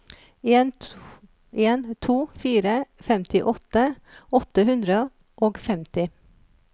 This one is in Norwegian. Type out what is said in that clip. en en to fire femtiåtte åtte hundre og femti